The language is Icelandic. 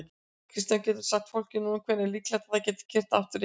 Kristján: Geturðu sagt fólki núna hvenær er líklegt að það geti keyrt aftur yfir?